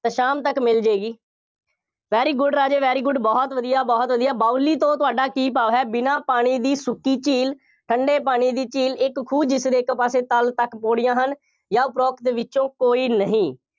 ਤਾਂ ਸ਼ਾਮ ਤੱਕ ਮਿਲ ਜਾਏਗੀ, very good ਰਾਜੇ very good ਬਹੁਤ ਵਧੀਆ, ਬਹੁਤ ਵਧੀਆ, ਬਾਊਲੀ ਤੋਂ ਤੁਹਾਡਾ ਕੀ ਭਾਵ ਹੈ। ਬਿਨਾ ਪਾਣੀ ਦੀ ਸੁੱਕੀ ਝੀਲ, ਠੰਡੇ ਪਾਣੀ ਦੀ ਝੀਲ, ਇੱਕ ਖੂਹ ਜਿਸਦੇ ਇੱਕ ਪਾਸੇ ਤਲ ਤੱਕ ਪੌੜੀਆਂ ਹਨ ਜਾਂ ਉਪਰੋਕਤ ਵਿੱਚੋਂ ਕੋਈ ਨਹੀਂ ।